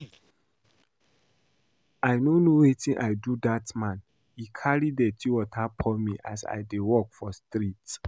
I no know wetin I do dat man. He carry dirty water pour me as I dey walk for street